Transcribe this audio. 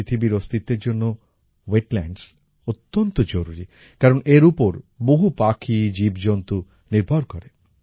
আমাদের পৃথিবীর অস্তিত্বের জন্য ওয়েটল্যান্ডস অত্যন্ত জরুরি কারণ এর ওপর বহু পাখি জীবজন্তু নির্ভর করে